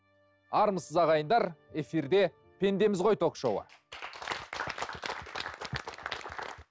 армысыз ағайындар эфирде пендеміз ғой ток шоуы